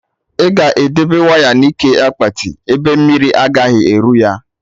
I ga edebe waya na ike akpati, ebe mmiri agaghị eru ya